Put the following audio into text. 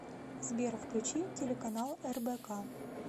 сбер включи телеканал рбк